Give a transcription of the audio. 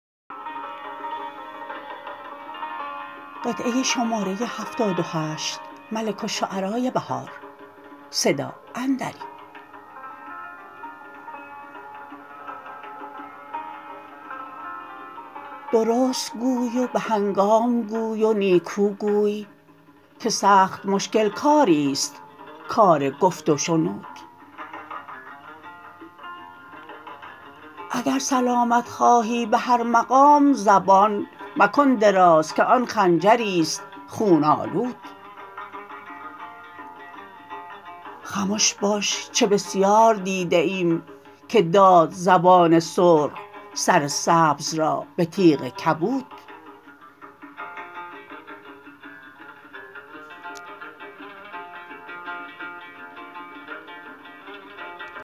درست گوی و به هنگام گوی و نیکوگوی که سخت مشکل کاربست کارگفت و شنود اگر سلامت خواهی به هر مقام زبان مکن درازکه آن خنجریست خون آلود خموش باش چه بسیار دیده ایم که داد زبان سرخ سر سبز را به تیغ کبود